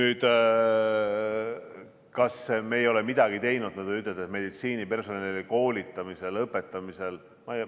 Kas me ei ole midagi teinud õdede, meditsiinipersonali koolitamiseks, õpetamiseks?